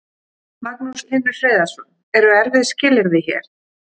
Magnús Hlynur Hreiðarsson: Eru erfið skilyrði hér?